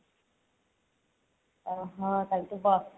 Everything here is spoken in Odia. ଓଃ ହୋ ତାହାଲେ ତୁ